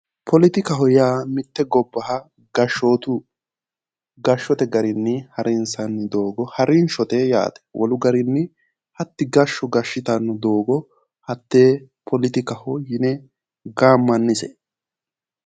Poletikaho yaa mitte gobbaha gashshootu gashshote garinni harinsanni doogo harinshote yaate wolu garinni hatti gashsho gashshitanno doogo hattee poletikaho yine gaammannise